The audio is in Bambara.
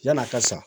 Yann'a ka sa